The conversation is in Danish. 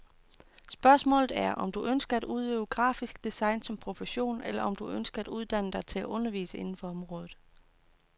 Spørgsmålet er, om du ønsker at udøve grafisk design som profession, eller om du ønsker at uddanne dig til at undervise inden for området.